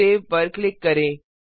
save पर click करें